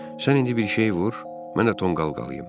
Sən indi bir şey vur, mən də tonqal qalayım.